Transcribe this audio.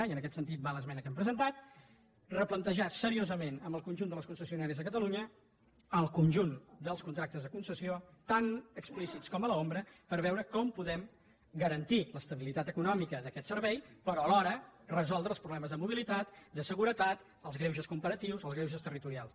i en aquest sentit va l’esmena que hem presentat replantejar seriosament amb el conjunt de les concessionàries de catalunya el conjunt dels contractes de concessió tant explícits com a l’ombra per veure com podem garantir l’estabilitat econòmica d’aquest servei però alhora resoldre els problemes de mobilitat de seguretat els greuges comparatius els greuges territorials